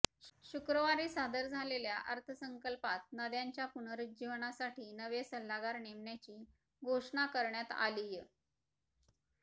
शुक्रवारी सादर झालेल्या अर्थसंकल्पात नद्यांच्या पुरुज्जीवनासाठी नवे सल्लागार नेमण्याची घोषणा करण्यात आलीय